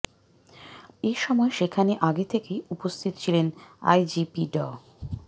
এ সময় সেখানে আগে থেকেই উপস্থিত ছিলেন আইজিপি ড